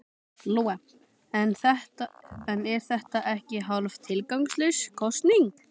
Lóa: En er þetta ekki hálf tilgangslaus kosning?